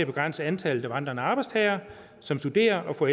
begrænse antallet af vandrende arbejdstagere som studerer og får